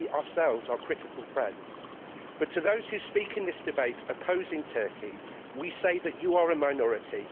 we ourselves are critical friends. But to those who speak in this debate opposing Turkey, we say that you are a minority